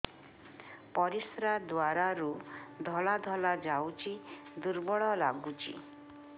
ପରିଶ୍ରା ଦ୍ୱାର ରୁ ଧଳା ଧଳା ଯାଉଚି ଦୁର୍ବଳ ଲାଗୁଚି